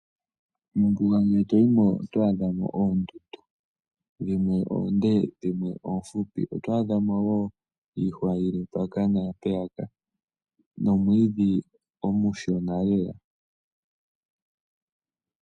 Mombuga ngele to yi mo oto adha mo oondundu. Dhimwe oonde dhimwe oofupi. Oto adha mo wo iihwa yi li mpaka naampeyaka nomwiidhi omushona lela.